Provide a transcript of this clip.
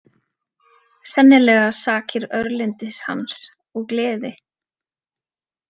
Sennilega sakir örlyndis hans og gleði.